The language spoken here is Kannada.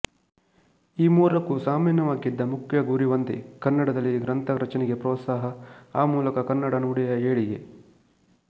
ಈ ಮೂರಕ್ಕೂ ಸಾಮಾನ್ಯವಾಗಿದ್ದ ಮುಖ್ಯ ಗುರಿ ಒಂದೇ ಕನ್ನಡದಲ್ಲಿ ಗ್ರಂಥ ರಚನೆಗೆ ಪ್ರೋತ್ಸಾಹ ಆ ಮೂಲಕ ಕನ್ನಡ ನುಡಿಯ ಏಳಿಗೆ